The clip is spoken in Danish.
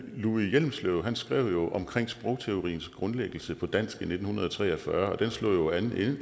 louis hjelmslev skrev om sprogteoriens grundlæggelse på dansk i nitten tre og fyrre og den slog jo an